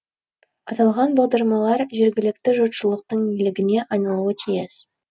аталған бағдарламалар жергілікті жұртшылықтың игілігіне айналуы тиіс